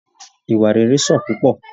Ìwà rere sàn púpọ!